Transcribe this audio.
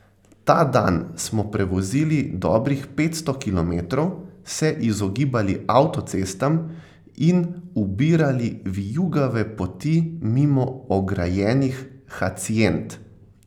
Ta dan smo prevozili dobrih petsto kilometrov, se izogibali avtocestam in ubirali vijugave poti mimo ograjenih haciend.